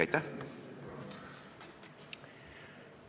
Aitäh!